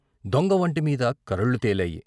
దొంగ వొంటి మీద కరళ్ళు తేలాయి.